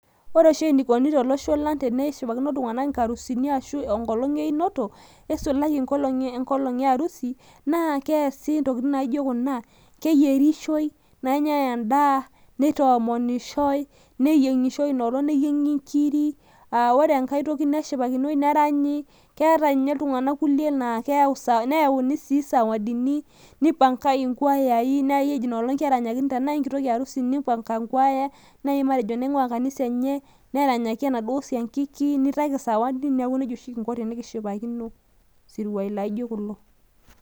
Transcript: ore oshi eneikoni tolosho lang' teneshipakino iltunganak inkarusuni arashu enkolong' einoto, neisulaki enkolong' earusi naa keasi intokitin naijo kuna keyierishoi, nenyae edaa, neyieng'ishoi ina olong' neyieng'i nkiri, neshipakinoi neranyi, keeta ninye iltung'anak kumok kulie naa keyau sawadini, keyauni sawadini, nipankae, inkwayayi nipankae inoolong' tenaa kitoki arusi ,nipanga kwaya, ore inanguaa kanisa enye neranyakiini enaduoo siankiki, nitayu sawadi, neeki nejia kinko tenikishipakino isruayi laijo kulo.